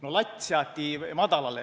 No latt seati madalale.